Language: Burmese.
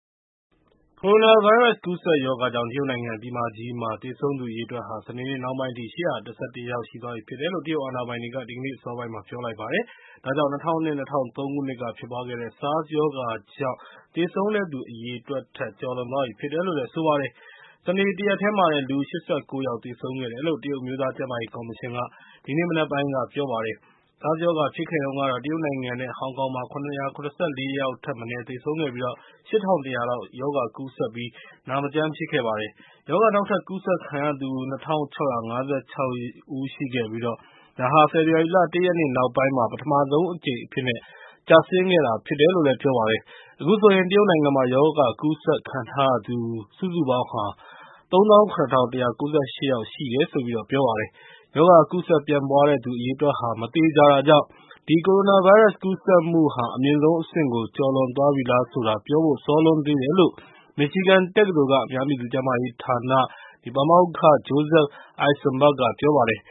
ကိုရိုနာဗိုင်းရပ်စ် ကူးစက်ရောဂါကြောင့် တရုတ်နိုင်ငံ ပြည်မကြီးမှာ သေဆုံးသူ အရေအတွက်ဟာ စနေနေ့နှောင်းပိုင်းအထိ ၈၁၁ ယောက် ရှိသွားပြီဖြစ်တယ်လို့ တရုတ်အာဏာပိုင်တွေက ဒီကနေ့အစောပိုင်းက ပြောလိုက်ပါတယ်။ ဒါကြောင့် ၂၀၀၂-၀၃ ခုနှစ်က ဖြစ်ပွားခဲ့တဲ့ SARS ရောဂါကြောင့် သေဆုံးတဲ့သူ အရေအတွက်ထက် ကျော်လွန်သွားပြီဖြစ်တယ်လို့ ဆိုပါတယ်။ စနေနေ့ တရက်တည်းမှာတင် လူ ၈၉ ယောက် သေဆုံးခဲ့တယ်လို့ တရုတ် အမျိုးသားကျန်းမာရေးကော်မရှင်က ဒီနေ့မနက်ပိုင်းက ပြောပါတယ်။ SARS ရောဂါ ဖြစ်ခဲ့တုန်းကတော့ တရုတ်နိုင်ငံနဲ့ ဟောင်ကောင်မှာ ၇၇၄ ယောက်ထက်မနည်း သေဆုံးခဲ့ပြီး ၈၁၀၀ လောက် ရောဂါကူးစက်ပြီး နာမကျန်းဖြစ်ခဲ့ပါတယ်။ ရောဂါ နောက်ထပ်ကူးစက်ခံရသူ ၂၆၅၆ ဦးရှိခဲ့ပြီး ဒါဟာ ဖေဖော်ဝါရီလ ၁ ရက်နေ့ နောက်ပိုင်းမှာ ပထမဆုံးအကြိမ်အဖြစ်နဲ့ ကျဆင်းခဲ့တာဖြစ်ပါတယ်။ အခုဆိုရင် တရုတ်နိုင်ငံမှာ ရောဂါကူးစက်ခံထားရသူ စုစုပေါင်း ၃၇၁၉၈ ယောက်ရှိတယ်လို့ ပြောပါတယ်။ ရောဂါကူးစက်ပြန့်ပွားတဲ့သူ အရေအတွက်က မသေချာတာကြောင့် ဒီ ကိုရိုနာဗိုင်းရပ်စ် ကူးစက်မှုဟာ အမြင့်ဆုံးအဆင့်ကို ကျော်လွန်သွားပြီလားဆိုတာ ပြောဖို့ စောလွန်းသေးတယ်လို့ မစ်ချီဂန်တက္ကသိုလ်က အများပြည်သူကျန်းမာရေးဌာန ပါမောက္ခ Joseph Eisenberg က ပြောပါတယ်